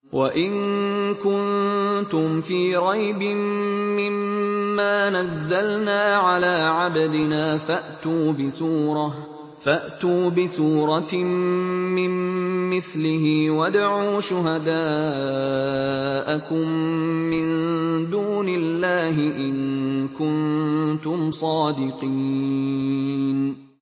وَإِن كُنتُمْ فِي رَيْبٍ مِّمَّا نَزَّلْنَا عَلَىٰ عَبْدِنَا فَأْتُوا بِسُورَةٍ مِّن مِّثْلِهِ وَادْعُوا شُهَدَاءَكُم مِّن دُونِ اللَّهِ إِن كُنتُمْ صَادِقِينَ